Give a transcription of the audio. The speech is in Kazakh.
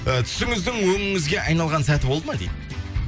і түсіңіздің өңіңізге айналған сәті болды ма дейді